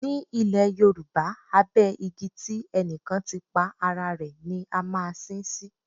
Nílẹ̀ Yorùbá, abẹ igi tí ẹnì kan ti pa ara rẹ̀ ni a máa sin ín sí.